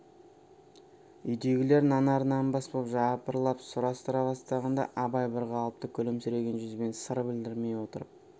үйдегілер нанар-нанбас боп жапырлап сұрастыра бастағанда абай бір қалыпты күлімсіреген жүзбен сыр білдірмей отырып